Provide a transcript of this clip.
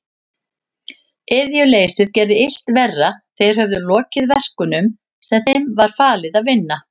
Iðjuleysið gerði illt verra, þeir höfðu lokið verkunum sem þeim var falið að vinna.